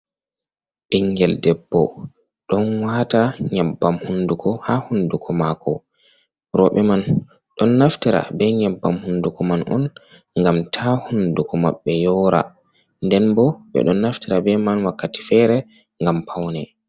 Ɓingel debbo ɗon waata nyabbam hunduko haa hunduko maako. Rowɓe man ɗon naftira be nyabbam hunduko man on ngam ta hunduko maɓɓe yoora. Nden bo ɓe ɗon naftira be man wakkati fere ngam paune.